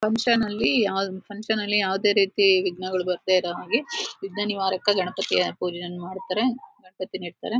''Function'''' ಅಲ್ಲಿ function'''' ಅಲ್ಲಿ ಯಾವದೇ ರೀತಿ ವಿಗ್ನಗಳು ಬರದೇ ಇರೋ ಹಾಗೆ ವಿಗ್ನ ನಿವಾರಕ ಗಣಪತಿಯ ಪೂಜೆಯನ್ನು ಮಾಡತಾರೆ ಗಣಪತಿನಾ ಇಡ್ತರೆ.''